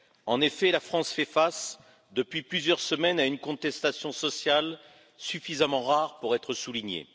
En effet, la France fait face depuis plusieurs semaines à une contestation sociale suffisamment rare pour être soulignée.